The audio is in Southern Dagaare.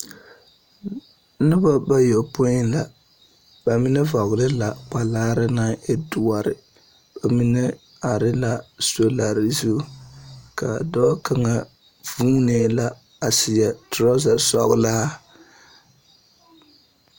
Nobɔ bayɔpoĩ la, ba menɛ vɔgele la kpalaare naŋ e doɔre ka mine are la solare zu. K'a dɔɔ kaŋa vuunee la a seɛ torazasɔgelaa.